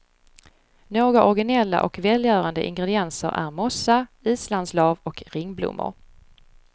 Några originella och välgörande ingredienser är mossa, islandslav och ringblommor.